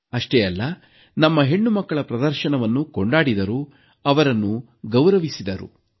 ಅಷ್ಟೇ ಅಲ್ಲ ನಮ್ಮ ಹೆಣ್ಣುಮಕ್ಕಳ ಪ್ರದರ್ಶನವನ್ನು ಕೊಂಡಾಡಿದರು ಅವರನ್ನು ಗೌರವಿಸಿದರು